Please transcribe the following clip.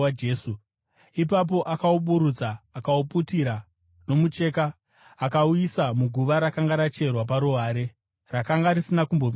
Ipapo akauburutsa, akauputira nomucheka akauisa muguva rakanga racherwa paruware, rakanga risina kumbovigwa munhu.